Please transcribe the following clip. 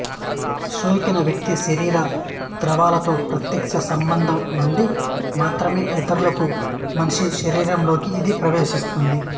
సోకిన వ్యక్తి శరీర ద్రవాలతో ప్రత్యక్ష సంబంధం నుండి మాత్రమే ఇతరులకు మనిషి శరీరంలోకి ఇది ప్రవేశిస్తుంది